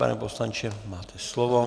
Pane poslanče, máte slovo.